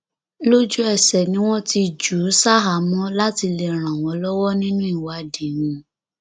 lójúẹsẹ ni wọn ti jù ú ṣaháàámọ láti lè ràn wọn lọwọ nínú ìwádìí wọn